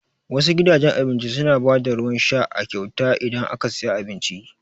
Wasu gidajen abincin su na ba da ruwan sha a kyauta idan aka siya abinci